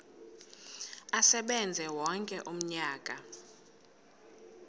asebenze wonke umnyaka